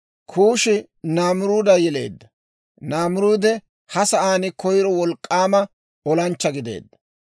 Kuushi Naamiruuda yeleedda; Naamiruudi ha sa'aan koyro wolk'k'aama olanchchaa gideedda;